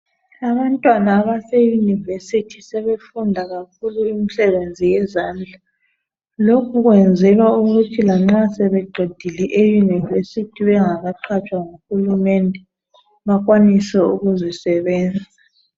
Abantwana abase University sebefunda kakhulu imisebenzi yezandla lokhu kwenzelwa ukuthi lanxa sebeqedile e University bengakaqhatshwa nguHulumende bakwanise ukuzi sebenza